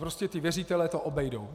Prostě ti věřitelé to obejdou.